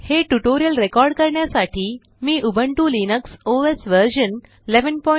हे tutorial record करण्यासाठी मी उबुंटू लिनक्स ओएस व्हर्शन 1110